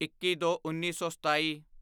ਇੱਕੀਦੋਉੱਨੀ ਸੌ ਸਤਾਈ